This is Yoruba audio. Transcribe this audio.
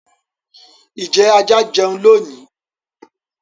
ijẹ àjà jẹún lónì?